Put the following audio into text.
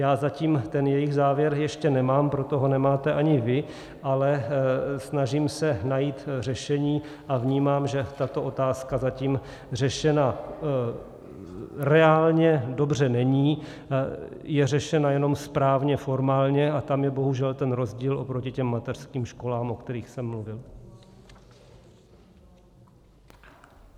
Já zatím ten jejich závěr ještě nemám, proto ho nemáte ani vy, ale snažím se najít řešení a vnímám, že tato otázka zatím řešena reálně dobře není, je řešena jenom správně formálně, a tam je bohužel ten rozdíl oproti těm mateřským školám, o kterých jsem mluvil.